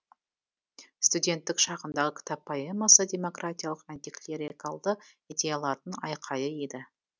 студенттік шағындағы кітап поэмасы демократиялық антиклерикалды идеялардың айқайы еді